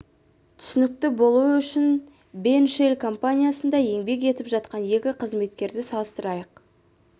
түсінікті болуы үшін бен шелл компаниясында еңбек етіп жатқан екі қызметкерді салыстырайық